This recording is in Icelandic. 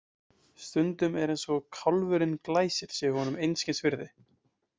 Stundum er eins og kálfurinn Glæsir sé honum einskis virði.